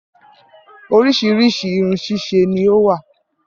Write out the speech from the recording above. Orísirísi Irun ṣísẹ ni ó wà